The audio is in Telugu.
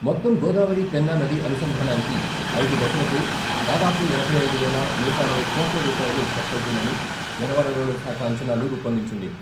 మొత్తం గోదావరి పెన్నా నది అనుసంధానానికి ఐదు దశలకు దాదాపు ఎనభై ఐదు వేలనూట అరవై కోట్ల రూపాయలు ఖర్చవుతుందని జలవనరుల శాఖ అంచనాలు రూపొందించింది.